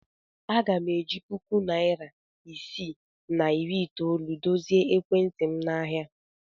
Aga m eji puku naịra isii na iri itoolu dozie ekwentị m n'ahịa.